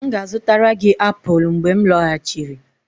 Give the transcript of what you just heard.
M ga-azụtara gị apụl mgbe m lọghachiri.